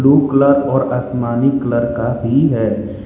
Colour और आसमानी colour भी है।